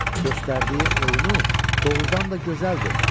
Göstərdiyi oyunu doğurdan da gözəldir.